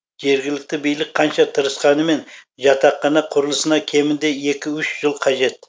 жергілікті билік қанша тырысқанымен жатақхана құрылысына кемінде екі үш жыл қажет